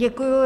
Děkuji.